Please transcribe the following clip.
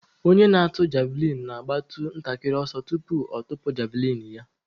Onye na-atụ javlịn na-agbatụ ntakịrị ọsọ tupu ọ tụpụ javlịn ya.